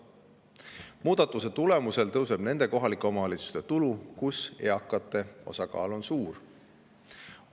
Muudatuse tulemusel kasvab nende kohalike omavalitsuste tulu, kus eakate osakaal on suur.